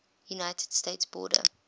united states border